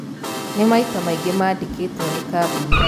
Na maita maingĩ maandĩkĩtwo nĩ kambuni